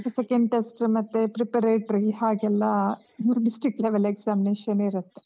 Second test , ಮತ್ತೆ preparatory ಹಾಗೆಲ್ಲ district level examination ಇರತ್ತೆ.